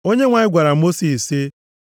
Onyenwe anyị gwara Mosis sị,